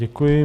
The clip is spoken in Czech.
Děkuji.